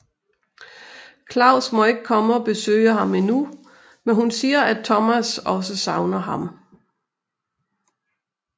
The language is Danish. Claus må ikke komme og besøge ham endnu men hun siger at Thomas også savner ham